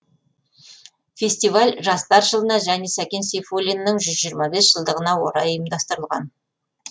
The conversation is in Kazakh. фестиваль жастар жылына және сәкен сейфуллиннің жылдығына орай ұйымдастырылған